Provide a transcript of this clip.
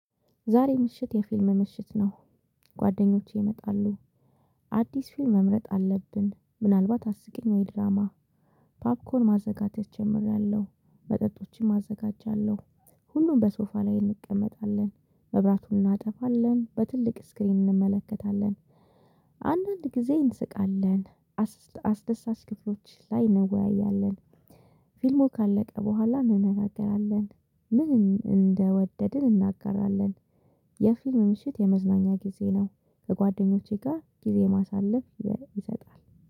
ዛሬ ምሽት የፊልም ምሽት ነው ጓደኞቼ ይመጣሉ። አዲስ ፊልም መምረጥ አለብን ምናልባት አስቂኝ ወይ ድራማ። ፓፕኮር ማዘጋጀት ጀምሬያለሁ መጠጦችን አዘጋጃለሁ። ሁሉም በሶፋ ላይ እንቀመጣለን መብራቱን እናጠፋለን በትልቅ ስክሪን እንመለከታለን፤። አንዳንድ ጊዜ እንስቃለን። አስደሳች ክፍሎች ላይ እንወያያለን፤። ፊልሙ ካለቀ በኋላ እንነጋገራለን ምን እንደወደድን እንነጋገራለን፤። የፊልም ምሽት የመዝናኛ ጊዜ ነው። ከጓደኞቼ ጋር ጊዜ ማሳለፍ ይሰጣል፤